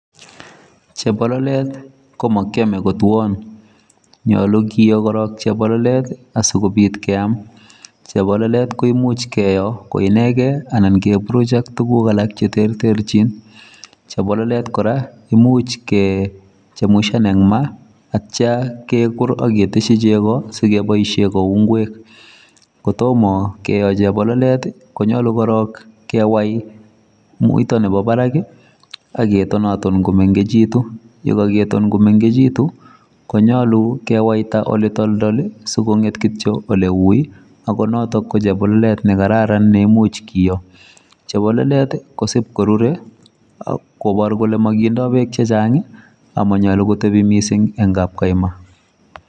Chebololet ko makiyamee ko twaaan nyaluu kiyoo korong chebololet, asikobiit keyaam , chebololet ko imuuch keyoo ko inegeen ii anan keburuj ak tuguuk alaak che terterjiin, chebololet kora imuuch kechemumshan en maa ak yeityaa keguur ak ketesyii chegoo sigoboisheen kouu ngweek kotomaah kiyoo chebololet ii konyaluu korong kewai muita nebo barak ii ak ke tonanton kimekituun ye kakitoon kimekituun konyaluu kewaita ole toltol sikongeet kityo ole wui ako notoon ko chebololet ne kararan neimuuch kiyoo chebololet ko siip korurei ii ak kobaar kole makindaa beek che chaang ak manyaluu kotebii missing en kapkaima.